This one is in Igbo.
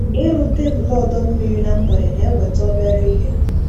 Ịrụ tebụl ọdọ mmiri na mgbede na-enweta obere ihe.